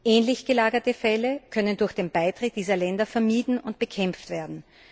Ähnlich gelagerte Fälle können durch den Beitritt dieser Länder vermieden und bekämpft werden.